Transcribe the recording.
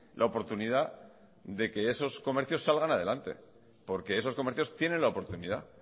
la oportunidad de que esos comercios salgan adelante porque esos comercios tienen la oportunidad